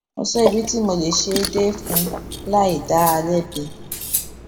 mo sọ ibi tí mo lè ṣe é dé fún un láì dá a lébi